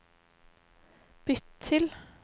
bytt til